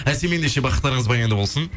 әсем ендеше бақыттарыңыз баянды болсын